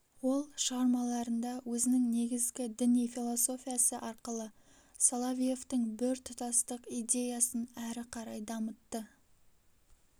ол шығармаларында өзінің негізгі діни философиясы арқылы соловьевтің біртұтастық идеясын әрі қарай дамытты